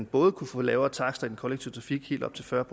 både kunne få lavere takster i den kollektive trafik helt op til fyrre